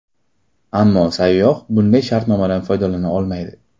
Ammo sayyoh bunday shartnomadan foydalana olmaydi.